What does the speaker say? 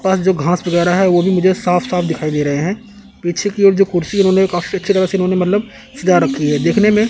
पास जो घास वगैरा है वो भी मुझे साफ साफ दिखाई दे रहे हैं पीछे की ओर जो कुर्सी इन्होंने काफ़ी अच्छी तरह से इन्होंने मतलब सजा रखी है देखने में--